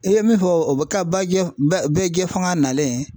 I ye min fɔ o bɛ ka baji bɛɛjɛ fanga nalen